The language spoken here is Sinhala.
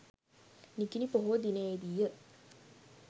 නිකිණි පොහෝ දිනයේ දී ය.